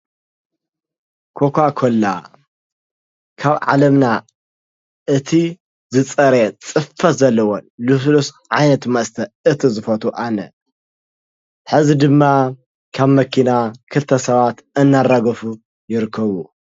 ኮካኮላ ካብ ዓለምና እቲ ዝፀረየ ፅፈት ዘለዎን ልስሉስ ዓይነት መስተ እቲ ዝፈትዎ ኣነ ሕዚ ድማ ካብ መኪና ክልተ ሰባት እናራገፉ ይርከቡ።